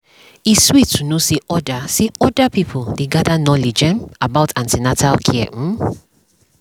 e sweet to know say other say other pipo dey gather knowledge um about an ten atal care um